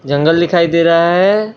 जंगल दिखाई दे रहा है।